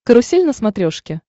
карусель на смотрешке